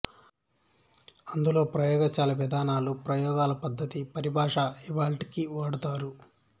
అందులో ప్రయోగశాల విధానాలు ప్రయోగాల పద్ధతి పరిభాశ ఇవాళ్టికి వాడుతారు